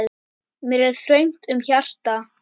Mér er þröngt um hjarta.